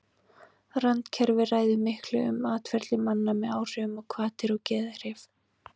randkerfið ræður miklu um atferli manna með áhrifum á hvatir og geðhrif